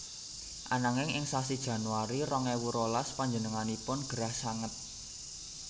Ananging ing sasi Januari rong ewu rolas panjenenganipun gerah sanget